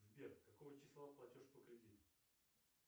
сбер какого числа платеж по кредиту